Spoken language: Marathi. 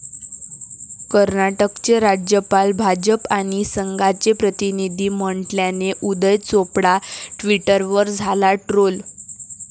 कर्नाटकचे राज्यपाल 'भाजप आणि संघा'चे प्रतिनिधी म्हटल्याने उदय चोपडा ट्विटरवर झाला ट्रोल